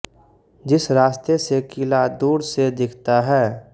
जिस रास्ते से किला दूर से दिखता है